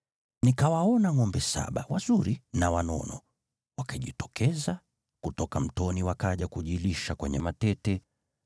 nikawaona ngʼombe saba, wazuri na wanono, wakijitokeza kutoka mtoni wakaja kujilisha kwenye matete.